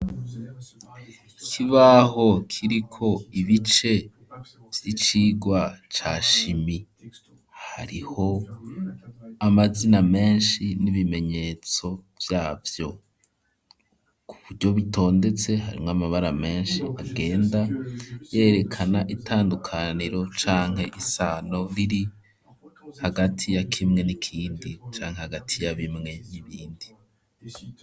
Ikibaho kiriko ibice vy'icirwa ca shimi hariho amazina meshi n'ibimenyetso vyavyo kuburyo bitondetse harimwo amabara meshi agenda yerekana itandukaniro canke isano biri hagati ya kimwe n'ikindi canke hagati ya bimwe n'ibindi.